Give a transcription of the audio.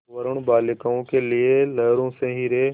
वरूण बालिकाओं के लिए लहरों से हीरे